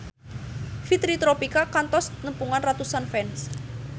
Fitri Tropika kantos nepungan ratusan fans